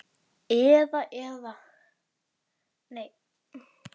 Og einn á skel yfir fjörð ég fer að finna vinstúlku mína.